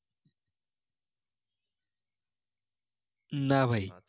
না ভাই